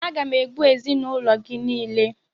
Aga m egbu ezinaụlọ gị niile!